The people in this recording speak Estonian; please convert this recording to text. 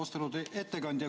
Austatud ettekandja!